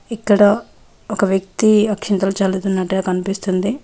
ఇక్కడ ఒక వ్యక్తి అక్షింతలు చల్లుతున్నట్టుగా కనిపిస్తుంది.